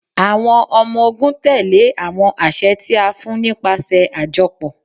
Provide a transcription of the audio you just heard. Awọn ọmọ-ogun tẹle awọn aṣẹ ti a fun nipasẹ ajọpọ